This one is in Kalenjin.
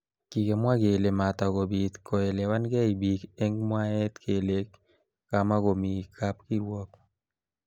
Kikimwa kele matakobit koelewankei bik eng mwaet kele kamakomi kab kirwok